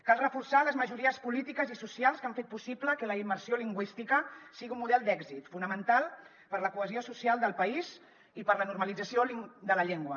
cal reforçar les majories polítiques i socials que han fet possible que la immersió lingüística sigui un model d’èxit fonamental per a la cohesió social del país i per a la normalització de la llengua